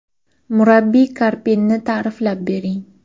Murabbiy Karpinni ta’riflab bering.